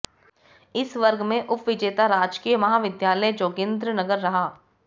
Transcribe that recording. इस वर्ग में उपविजेता राजकीय महाविद्यालय जोगिंद्रनगर रहा